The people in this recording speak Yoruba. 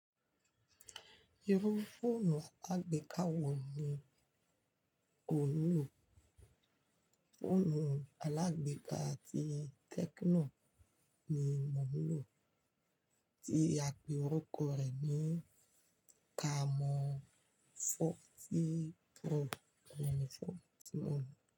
Irú fóònù alágbèéká wo ni o ń lò? Fóònù alágbèéká ti Tecno ni mo ń lò tí àpe orúkọ rẹ ni Camon forty Pro.